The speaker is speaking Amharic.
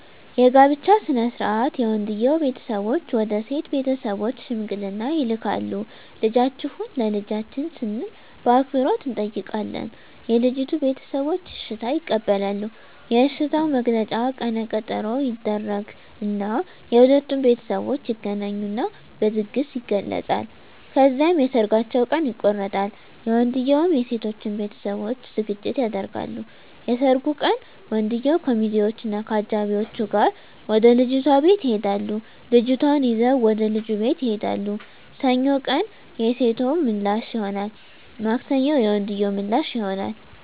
የጋብቻ ሥነ ሥርዓት የወንድየዉ ቤተሰቦች ወደ ሴት ቤተሰቦች ሽምግልና ይልካሉ ልጃችሁን ለልጃችን ስንል በአክብሮት እንጠይቃለን የልጂቱ ቤተሰቦች እሽታ ይቀበላሉ የእሽታዉ መግለጫ ቀነ ቀጠሮ ይደረግ እና የሁለቱም ቤተሠቦች ይገናኙና በድግስ ይገለፃል። ከዚያም የሠርጋቸዉ ቀን ይቆረጣል የወንድየዉም የሴቶም ቤተሠቦች ዝግጅት ያደርጋሉ። የሠርጉ ቀን ወንድየዉ ከሚዚወች እና ከአጃቢወቹ ጋር ወደ ልጅቷ ቤት ይሄዳሉ ልጅቷን ይዘዉ ወደ ልጁ ቤት ይሄዳሉ። ሰኞ ቀን የሴቶ ምላሽ ይሆናል ማክሰኞ የወንድየዉ ምላሽ ይሆናል።